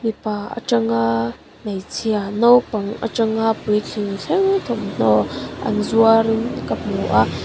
mipa atanga hmeichhia naupang atanga puitling thleng thawmhnaw an zuar in ka hmu a--